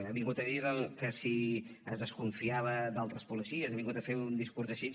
ha vingut a dir que si es desconfiava d’altres policies ha vingut a fer un discurs així